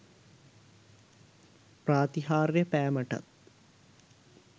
ප්‍රාතිහාර්ය පෑමටත්